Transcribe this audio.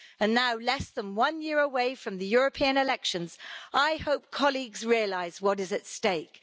Now, less than one year away from the European elections, I hope colleagues realise what is at stake.